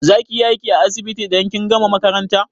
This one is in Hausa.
Za kiyi aiki a asibiti idan kin gama makaranta?